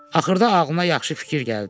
Axırda ağlına yaxşı fikir gəldi.